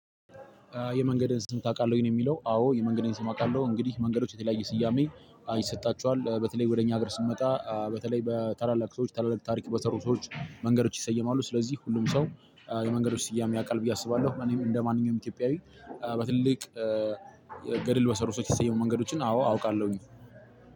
የመንገድን ስም ታቃለህ ነው? የሚለው አዎ የመንገድን ስም አውቃለሁ። እንግዲህ መንገዶች የተለያየ ስያሜ ይሰጣቸዋል በተለይ ወደ እኛ ሀገር ስንመጣ በተለይ በታላላቅ ሰዎች ታላላቅ ታሪክ በሰሩ ሰዎች መንገዶች ይሰየማሉ። ስለዚህ ሁሉም ሰው የመንገዶች ስያሜ ያቃል ብዬ አስባለሁ። እኔ እንደማንኛውም ኢትዮጵያዊ በትልቅ ገድል በሰሩ ሰዎች የተሰየሙ መንገዶችን አዎ አውቃለሁኝ።